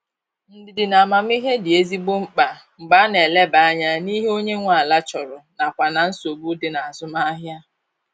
Ndidi na amamihe dị ezigbo mkpa mgbe a na eleba anya n'ihe onye nwe ala chọrọ nakwa na nsogbu dị n'azụmahia.